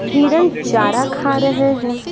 हिरन चारा खा रहे हैं।